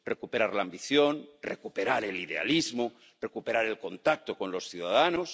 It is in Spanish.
Hay que recuperar la ambición, recuperar el idealismo, recuperar el contacto con los ciudadanos.